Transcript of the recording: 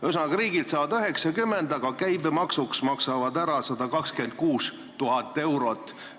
Ühesõnaga, riigilt saavad 90 000, aga käibemaksuks maksavad 126 000 eurot.